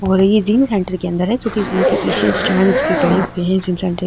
और ये gym centre के अंदर है जो की पीछे स्टेण्ड भी पड़े हुए है --